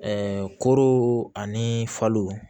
koro ani falo